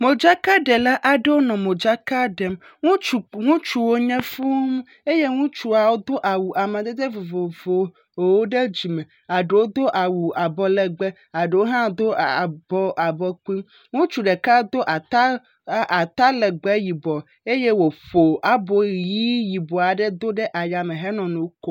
Modzakaɖela aɖewo nɔ modzaka ɖem. Ŋutsu ŋutsuwo nye fũu. Eye ŋutsuawo do awu amadede vovovowo. Aɖewo do awu abɔlɛgbɛ, aɖowohã do abɔ abɔkpui. Ŋutsu ɖeka do ata aa atalɛgbɛ yibɔ eye wòƒo abo ʋii yibɔ aɖe do ɖe ayame henɔ nu kom